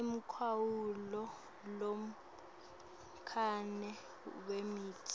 umkhawulo lomncane wemitsi